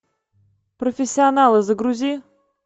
профессионалы загрузи